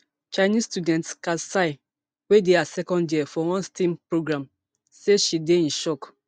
chinese student kat xie wey dey her second year for one stem programme say she dey in shock